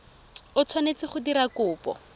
o tshwanetse go dira kopo